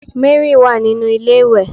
Mary wa ninu ilé iwe